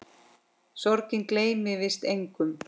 Sorgin gleymir víst engum.